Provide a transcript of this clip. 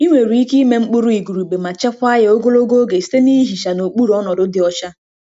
Ị nwere ike ịme mkpụrụ igurube ma chekwaa ya ogologo oge site na ihicha n'okpuru ọnọdụ dị ọcha.